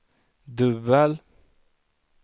dubbel